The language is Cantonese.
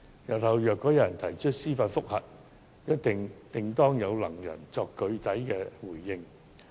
日後，如果有人提出司法覆核，定會有能人可以作出具體回應。